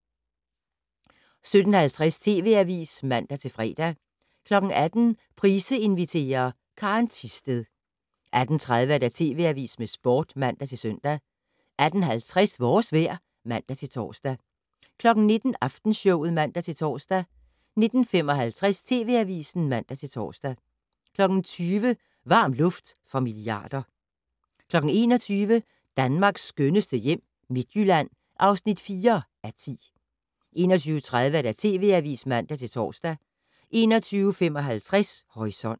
17:50: TV Avisen (man-fre) 18:00: Price inviterer - Karen Thisted 18:30: TV Avisen med Sporten (man-søn) 18:50: Vores vejr (man-tor) 19:00: Aftenshowet (man-tor) 19:55: TV Avisen (man-tor) 20:00: Varm luft for milliarder 21:00: Danmarks skønneste hjem - Midtjylland (4:10) 21:30: TV Avisen (man-tor) 21:55: Horisont